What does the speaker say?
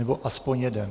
Nebo aspoň jeden.